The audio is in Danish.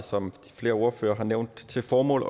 som flere ordførere har nævnt til formål